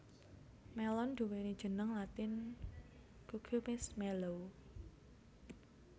Mélon nduwéni jeneng latin Cucumis melo